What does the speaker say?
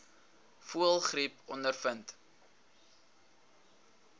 voëlgriep ondervind